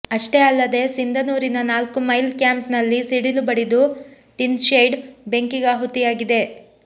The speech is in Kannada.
ಅಷ್ಟೇ ಅಲ್ಲದೇ ಸಿಂಧನೂರಿನ ನಾಲ್ಕು ಮೈಲ್ ಕ್ಯಾಂಪ್ ನಲ್ಲಿ ಸಿಡಿಲು ಬಡಿದು ಟಿನ್ಶೆಡ್ ಬೆಂಕಿಗಾಹುತಿಯಾಗಿದೆ